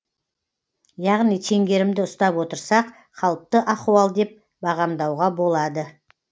яғни теңгерімді ұстап отырсақ қалыпты ахуал деп бағамдауға болады